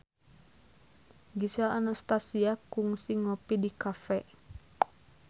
Gisel Anastasia kungsi ngopi di cafe